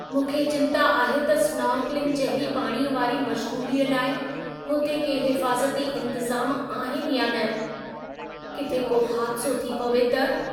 मूंखे चिंता आहे त स्नॉर्कलिंग जहिड़ी पाणीअ वारी मश्ग़ूलीअ लाइ हुते के हिफ़ाज़ती इंतज़ाम आहिनि या न? किथे को हादिसो थी पवे त?